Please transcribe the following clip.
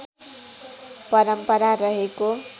परम्परा रहेको